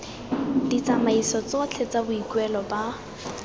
ditsamaiso tsotlhe tsa boikuelo ba